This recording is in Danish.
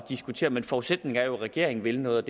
diskutere men forudsætningen er jo at regeringen vil noget